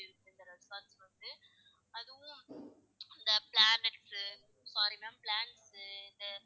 அதுவும் இந்த planets சு sorry ma'am plants